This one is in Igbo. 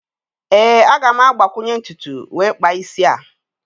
#NAME?